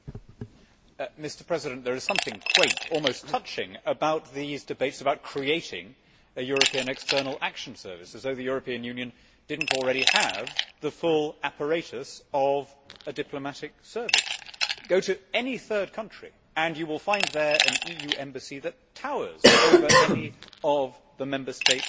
Mr President, there is something quaint, almost touching, about these debates about creating a European External Action Service, as though the European Union did not already have the full apparatus of a diplomatic service. Go to any third country and you will find an EU embassy that towers over any of the Member State legations.